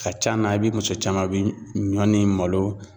Ka can na i bɛ muso caman bi ɲɔ ni malo